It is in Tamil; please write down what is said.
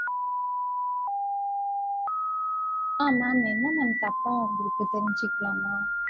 ஆஹ் ma'am என்ன ma'am தப்பா வந்துருக்கு தெரிஞ்சிக்கலாமா?